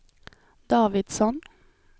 Davidsson